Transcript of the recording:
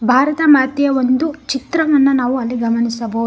ಭಾರತ ಮಾತೆಯ ಒಂದು ಚಿತ್ರವನ್ನ ನಾವು ಅಲ್ಲಿ ಗಮನಿಸಬಹು --